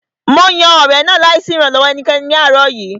Mo yan ọ̀rẹ̀ náà láì sí ìrànlọ́wọ́ ẹnikẹ́ni ní àárọ̀ yìí